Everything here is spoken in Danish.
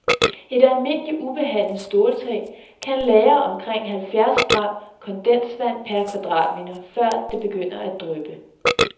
Et almindeligt ubehandlet ståltag kan lagre omkring halvfjerds gram kondensvand per kvadratmeter, før det begynder at dryppe.